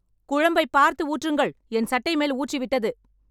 குழம்பை பார்த்து ஊற்றுங்கள் என் சட்டை மேல் ஊற்றி விட்டது